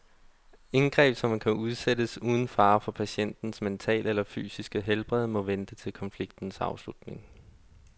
Indgreb, som kan udsættes uden fare for patientens mentale eller fysiske helbred, må vente til konfliktens afslutning.